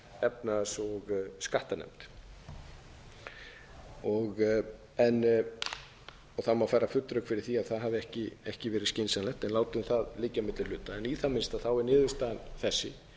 í gegnum efnahags og skattanefnd það má færa full rök fyrir því að það hafi ekki verið skynsamlegt en látum á liggja milli hluta í það minnsta er niðurstaðan þessi